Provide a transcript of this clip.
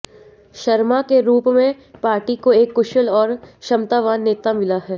शर्मा के रूप में पार्टी को एक कुशल और क्षमतावान नेता मिला है